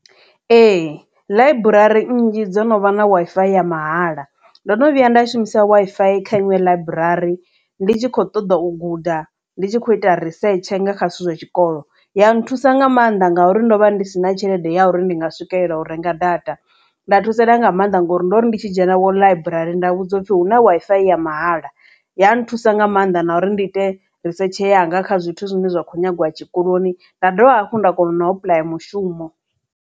Ee ḽaiburari nnzhi dzo no vha na Wi-Fi ya mahala ndo no vhuya nda shumisa Wi-Fi kha Iṅwe ḽaiburari ndi tshi kho ṱoḓa u guda ndi tshi kho ita risetshe nga kha zwithu zwa tshikolo ya nthusa nga maanḓa ngauri ndo vha ndi si na tshelede ya uri ndi nga swikelela u renga data nda thusalea nga maanḓa ngori ndori ndi tshi dzhena wo ḽaiburari nda vhudzwa u pfhi hu na Wi-Fi ya mahala ya nthusa nga maanḓa na uri ndi ite risetshe anga kha zwithu zwine zwa khou nyagiwa tshikoloni nda dovha hafhu nda kona na u apuḽaya mushumo.